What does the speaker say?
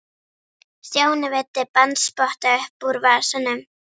Stjáni veiddi bandspotta upp úr vasanum.